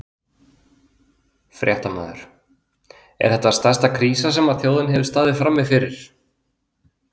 Fréttamaður: Er þetta stærsta krísa sem að þjóðin hefur staðið frammi fyrir?